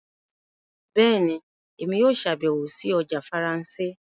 Bẹẹni, Èmí yóò ṣabẹwo sí ọjà Faransé